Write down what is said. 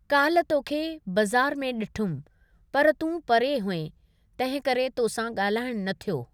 काल्ह तोखे बज़ारि में ॾिठुमि, पर तूं परे हुएं, तंहिं करे तोसां ॻाल्हाइणु न थियो।